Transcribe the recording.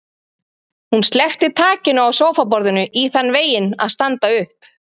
Hún sleppti takinu á sófaborðinu í þann veginn að standa upp.